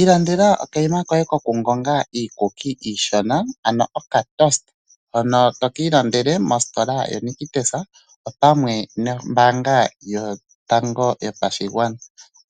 Ilandela okayima koye koku ninga iikuki iishona ano oka Toaster tokiilandele mositola ya Nictus opamwe nombaanga yopashigwana.